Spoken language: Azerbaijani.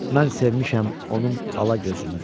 Mən sevmişəm onun alagözünü.